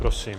Prosím.